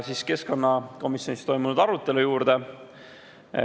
Nüüd keskkonnakomisjonis toimunud arutelu juurde.